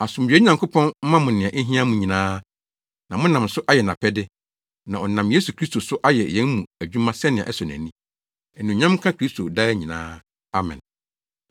Asomdwoe Nyankopɔn mma mo nea ehia mo nyinaa na monam so ayɛ nʼapɛde, na ɔnam Yesu Kristo so ayɛ yɛn mu adwuma sɛnea ɛsɔ ani. Anuonyam nka Kristo daa nyinaa. Amen.